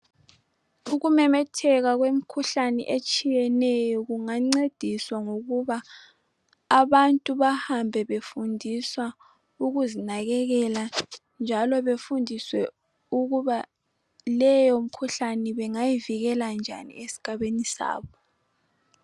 Ukumemetheka kwemikhuhlane etshiyeneyo kungangcediswa ngokuba abantu bahambe befundiswa ukuzinakekela njalo bedindiswa ukubana leyo mkhuhlane bengayivikela njani esigabeni sabo